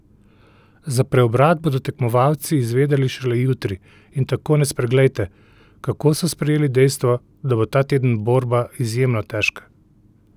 Za preobrat bodo tekmovalci izvedeli šele jutri in tako ne spreglejte, kako so sprejeli dejstvo, da bo ta teden borba izjemno težka!